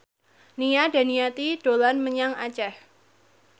Nia Daniati dolan menyang Aceh